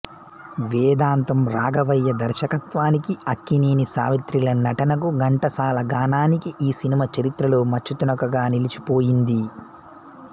వేదాంతం రాఘవయ్య దర్శకత్వానికి అక్కినేని సావిత్రిల నటనకు ఘంటసాల గానానికి ఈ సినిమా చరిత్రలో మచ్చుతునకగా నిలిచి పోయింది